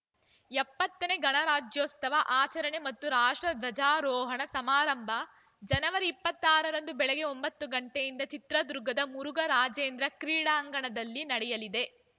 ಎಪ್ಪತ್ತನೇ ಗಣರಾಜ್ಯೋತ್ಸವ ಆಚರಣೆ ಮತ್ತು ರಾಷ್ಟ್ರ ಧ್ವಜಾರೋಹಣ ಸಮಾರಂಭ ಜನವರಿ ಇಪ್ಪತ್ತ್ ಆರ ರಂದು ಬೆಳಗ್ಗೆ ಒಂಬತ್ತು ಗಂಟೆಯಿಂದ ಚಿತ್ರದುರ್ಗದ ಮುರುಘರಾಜೇಂದ್ರ ಕ್ರೀಡಾಂಗಣದಲ್ಲಿ ನಡೆಯಲಿದೆ